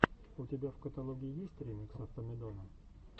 у тебя в каталоге есть ремикс автомедона